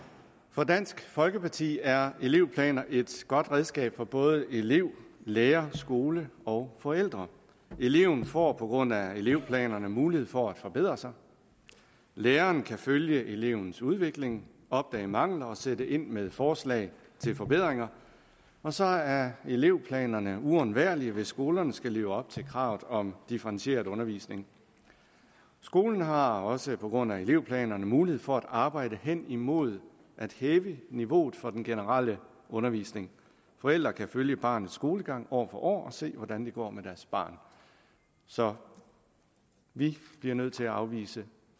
for dansk folkeparti er elevplaner et godt redskab for både elev lærer skole og forældre eleven får på grund af elevplanerne mulighed for at forbedre sig læreren kan følge elevens udvikling opdage mangler og sætte ind med forslag til forbedringer og så er elevplanerne uundværlige hvis skolerne skal leve op til kravet om differentieret undervisning skolen har også på grund af elevplanerne mulighed for at arbejde hen imod at hæve niveauet for den generelle undervisning forældrene kan følge barnets skolegang år for år og se hvordan det går med deres barn så vi bliver nødt til at afvise